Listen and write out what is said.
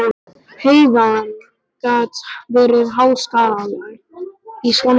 Heiðin gat verið háskaleg í svona tíðarfari.